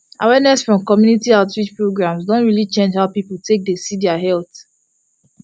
awareness from community outreach programs don really change how people dey take see their health